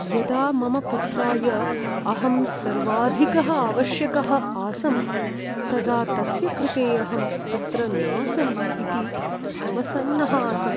यदा मम पुत्राय अहं सर्वाधिकः आवश्यकः आसं, तदा तस्य कृते अहं तत्र नासम् इति अवसन्नः आसम्।